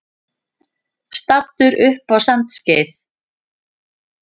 Staddur upp við Sandskeið.